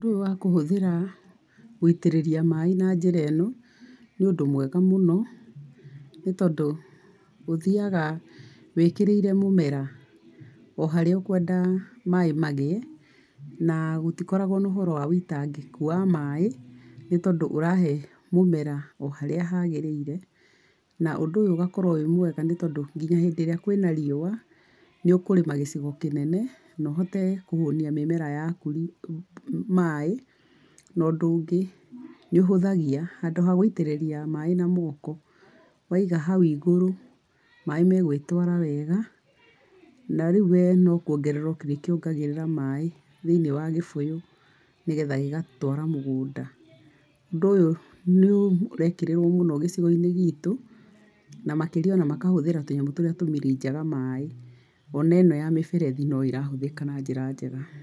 Ũndũ ũyũ wa kũhuthĩra gũitĩrĩria maaĩ na njĩra ĩno, nĩ ũndũ mwega mũno, nĩ tondũ gũthiaga wĩkĩrĩire mũmera, oharia ũkwenda maaĩ magĩe, na gũtikoragwo kwĩna ũhoro wa wĩitangĩkũ wa maaĩ , nĩ tondũ ũrahe mũmera oharĩa hagĩrĩire, na ũndũ ũyũ ũgagĩkorwo ũrĩ mwega nginya hĩndĩ ĩrĩa kwĩna riũa, nĩ ũkũrĩma gĩcigo kĩnene na ũhote kũhũnia mĩmera yaku maaĩ, ũndũ ũgĩ nĩ ũhũthagia handũ ha gũitagĩrĩria maaĩ na moko ,waiga hau igũrũ maaĩ magwĩtwara wega na rĩũ we no kuogerera ũgũkĩongerera maaĩ thĩiniĩ wa gĩbũyũ nĩgetha gĩgatwara mũgũnda, ũndũ ũyũ nĩ ũrekĩrĩrwo mũno gicigo-inĩ gitũ na makĩria ona makahũthĩra tũnyamu tũrĩa tũmirinjaga maaĩ , ona ĩno ya mĩberethi no ĩrahũthĩka na njĩra njega.